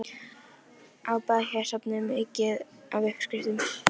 En getur lítið land líkt og Ísland lögleitt líknardauða?